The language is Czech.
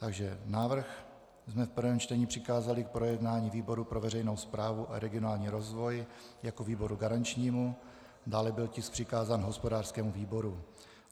Takže návrh jsme v prvním čtení přikázali k projednání výboru pro veřejnou správu a regionální rozvoj jako výboru garančnímu, dále byl tisk přikázán hospodářskému výboru.